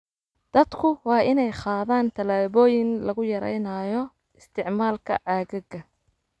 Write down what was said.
Dadku waa inay qaadaan tallaabooyin lagu yareynayo isticmaalka caagagga.